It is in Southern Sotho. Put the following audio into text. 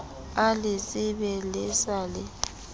a letsebe le sa le